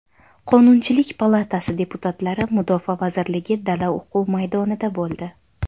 Qonunchilik palatasi deputatlari Mudofaa vazirligi dala-o‘quv maydonida bo‘ldi .